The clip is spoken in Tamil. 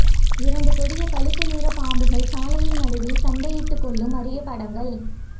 இரண்டு கொடிய பழுப்பு நிற பாம்புகள் சாலையின் நடுவில் சண்டையிட்டு கொள்ளும் அரிய படங்கள்